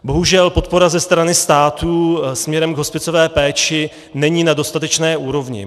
Bohužel podpora ze strany státu směrem k hospicové péči není na dostatečné úrovni.